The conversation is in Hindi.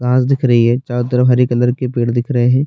घाँस दिख रही है चारों तरफ हरी कलर के पेड़ दिख रहे है।